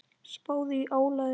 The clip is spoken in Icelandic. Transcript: Spáðu í álagið.